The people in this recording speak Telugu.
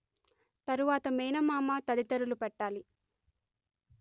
తరువాత మేనమామ తదితరులు పెట్టాలి